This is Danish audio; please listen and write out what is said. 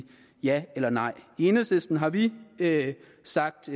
ja eller nej i enhedslisten har vi sagt